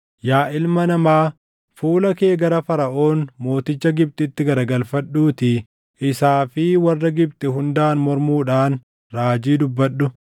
“Yaa ilma namaa, fuula kee gara Faraʼoon mooticha Gibxitti garagalfadhuutii isaa fi warra Gibxi hundaan mormuudhaan raajii dubbadhu.